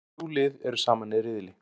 Þrjú lið eru saman í riðli.